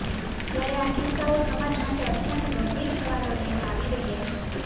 ત્યારે આ કિસ્સાઓ સમાજ માટે અત્યંત ગંભીર સવાલો લઈને આવી રહ્યા છે